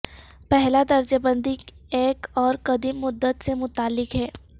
پہلا درجہ بندی ایک اور قدیم مدت سے متعلق ہے